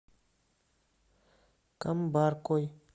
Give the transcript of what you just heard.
камбаркой